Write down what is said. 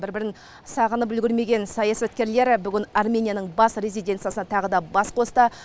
бір бірін сағынып үлгермеген саясаткерлер бүгін арменияның бас резиденциясында тағы да бас қосты